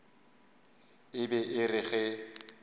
e be e re ge